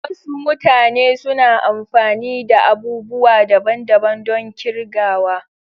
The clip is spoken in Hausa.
Wasu mutane suna amfani da abubuwa daban-daban don kirgawa.